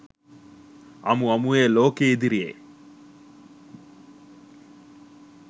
අමු අමුවේ ලෝකය ඉදිරියේ